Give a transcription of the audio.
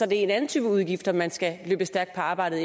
det en anden type udgifter man skal løbe stærkt på arbejdet